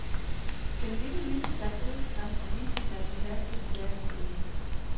Den lille vilde stak hovedet frem og viste sig at beherske en teaterscene.